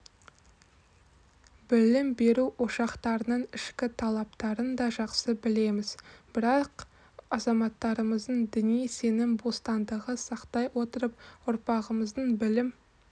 білім беру ошақтарының ішкі талаптарын да жақсы білеміз бірақ азаматтарымыздың діни-сенім бостандығын сақтай отырып ұрпағымыздың білім